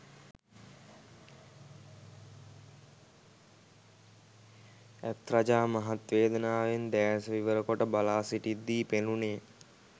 ඇත් රජා මහත් වේදනාවෙන් දෑස විවර කොට බලා සිිටිද්දී පෙනුණේ